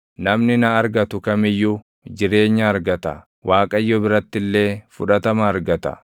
Namni na argatu kam iyyuu jireenya argata; Waaqayyo biratti illee fudhatama argata.